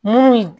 Munnu